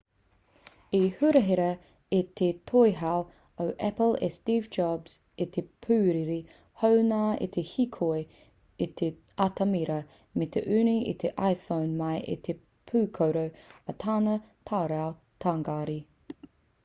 i hurahia e te toihau o apple e steve jobs i te pūrere hou nā te hīkoi i te atamira me te unu i te iphone mai i te pūkoro o tana tarau tāngari